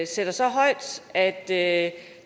sætter så højt at at